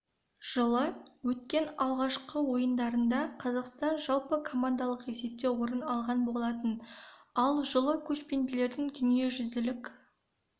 жылы өткен алғашқы ойындарда қазақстан жалпы командалық есепте орын алған болатын ал жылы көшпенділердің дүниежүзілік